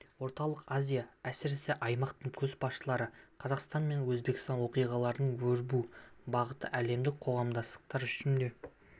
орталық азия әсіресе аймақтың көшбасшылары қазақстан мен өзбекстандағы оқиғалардың өрбу бағыты әлемдік қоғамдастық үшін де